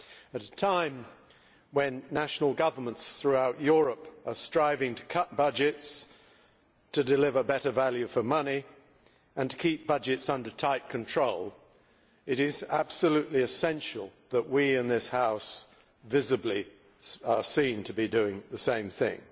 At a time when national governments throughout Europe are striving to cut budgets to deliver better value for money and to keep budgets under tight control, it is absolutely essential that we in this House visibly are seen to be doing the same thing.